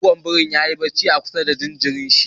Goggon biri ya yi barci a kusa da jinjirin shi.